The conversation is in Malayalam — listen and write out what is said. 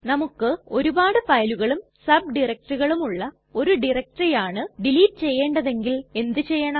നമുക്ക് ഒരുപാട് ഫയലുകളും സബ് ഡയറക്ടറികളുമുള്ള ഒരു ഡയറക്ടറി ആണ് ഡിലീറ്റ് ചെയ്യേണ്ടതെങ്കിൽ എന്ത് ചെയ്യണം